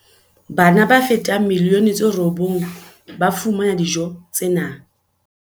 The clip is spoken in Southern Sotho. Bana ba fetang milioni tse robong ba fumana dijo tse nang